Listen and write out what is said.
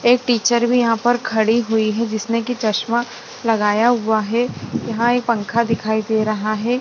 एक टीचर भी यहां पर खड़ी हुई है जिसने कि चश्मा लगाया हुआ है यहां एक पंखा दिखाई दे रहा है।